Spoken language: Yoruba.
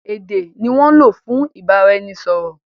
Èdè ni wọ́n ń lò fún ìbáraẹnisọ̀rọ̀.